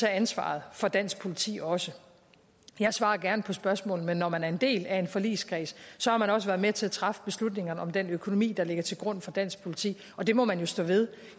ansvaret for dansk politi også jeg svarer gerne på spørgsmål men når man er en del af en forligskreds har man også været med til at træffe beslutningerne om den økonomi der ligger til grund for dansk politi og det må man jo stå ved